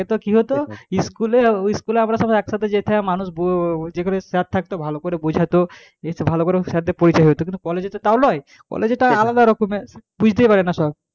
আগে কি হতো school এ আমরা সবাই একসাথে যেতাম মানুষ ব যে কটা sir থাকতো ভালো করে বোঝা তো ভালো করে sir দের পরিচয় হত কিন্তু college এ তো তা নয় college এ তো আলাদা রকমের বুঝতেই পারে না সব,